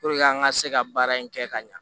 Puruke an ka se ka baara in kɛ ka ɲa